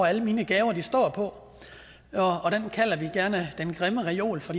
alle mine gaver står på og den kalder vi gerne den grimme reol for